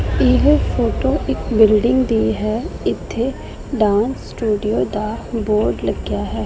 ਇਹ ਫੋਟੋ ਇੱਕ ਬਿਲਡਿੰਗ ਦੀ ਹੈ ਇੱਥੇ ਡਾਂਸ ਸਟੂਡੀਓ ਦਾ ਬੋਰਡ ਲੱਗਿਆ ਹੈ।